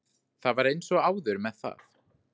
Það var eins og áður með það.